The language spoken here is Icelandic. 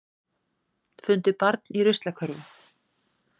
Fundu barn í ruslakörfu